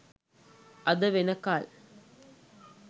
අද වෙනකල්?